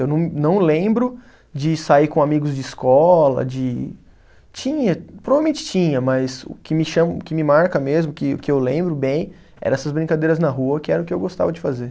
Eu não, não lembro de sair com amigos de escola, de. Tinha, provavelmente tinha, mas o que me cha, o que me marca mesmo, que eu lembro bem, eram essas brincadeiras na rua, que era o que eu gostava de fazer.